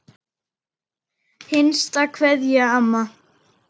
HINSTA KVEÐJA Amma.